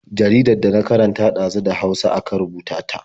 Jaridar da na karanta ɗazu da Hausa aka rubuta ta.